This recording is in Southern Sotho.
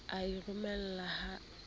o e romelang ha se